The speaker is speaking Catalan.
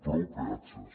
prou peatges